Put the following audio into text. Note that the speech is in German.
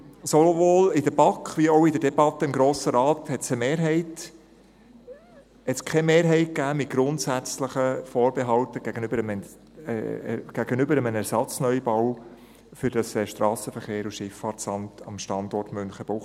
Sowohl in der BaK wie auch in der Debatte im Grossen Rat gab es keine Mehrheit mit grundsätzlichen Vorbehalten gegenüber einem Ersatzneubau für das SVSA am Standort Münchenbuchsee.